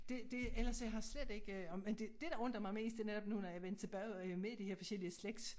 Det det ellers jeg har slet ikke øh og men det dét der undrer mig mest det netop nu når jeg vendte tilbage jeg med de her forskellige slægts